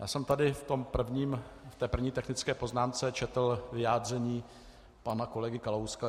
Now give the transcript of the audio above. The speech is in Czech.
Já jsem tady v té první technické poznámce četl vyjádření pana kolegy Kalouska.